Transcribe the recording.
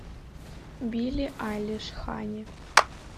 билли айлиш ханни